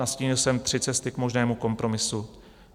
Nastínil jsme tři cesty k možnému kompromisu.